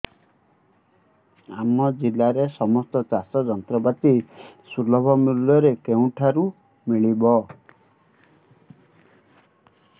ଆମ ଜିଲ୍ଲାରେ ସମସ୍ତ ଚାଷ ଯନ୍ତ୍ରପାତି ସୁଲଭ ମୁଲ୍ଯରେ କେଉଁଠାରୁ ମିଳିବ